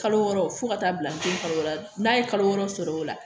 Kalo wɔɔrɔ fo ka taa bila den kalo wɔɔrɔ la n'a ye kalo wɔɔrɔ sɔrɔ o la